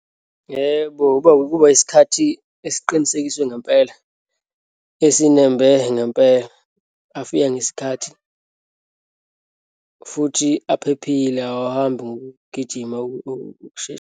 Yebo, uba ukuba isikhathi esiqinisekiswe ngempela, asinembe ngempela, afika ngesikhathi futhi aphephile, awahambi ngokugijima, .